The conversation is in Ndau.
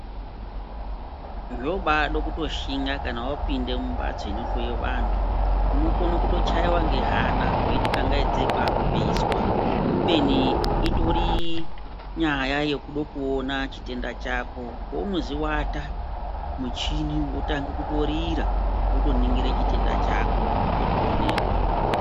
Zvoobaade kutoshinga kana wapinde mumbatso inohloyiwa vantu. Unokone kutochaiwe nge ngehana weiti kangaidzei kwaakupeiswa. Kubeni itori nyaya yekudo kuona chitenda chako. Pounozi ata muchini wotange kutorira, wotoningire chitenda chako chotoonekwa.